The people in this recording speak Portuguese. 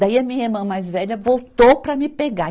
Daí a minha irmã mais velha voltou para me pegar.